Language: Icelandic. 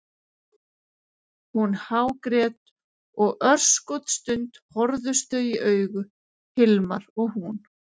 Hún hágrét og örskotsstund horfðust þau í augu, Hilmar og hún.